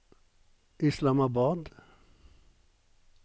Islamabad